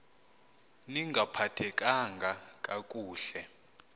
ni ngaphathekanga kakuhle